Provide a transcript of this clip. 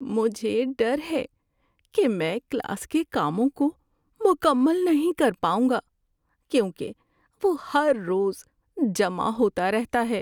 مجھے ڈر ہے کہ میں کلاس کے کاموں کو مکمل نہیں کر پاؤں گا کیونکہ وہ ہر روز جمع ہوتا رہتا ہے۔